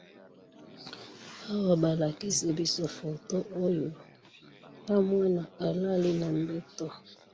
Balakisi biso photo oyo mwana alali na mbeto.